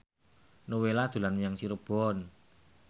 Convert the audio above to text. Nowela dolan menyang Cirebon